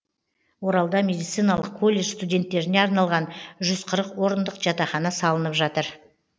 оралда медициналық колледж студенттеріне арналған жүз қырық орындық жатақхана салынып жатыр